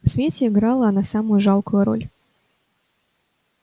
в свете играла она самую жалкую роль